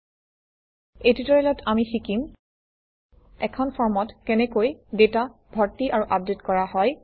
এই ট্যুটৰিয়েলত আমি শিকিম এখন ফৰ্মত কেনেকৈ ডাটা ভৰ্তি আৰু আপডেট কৰা হয়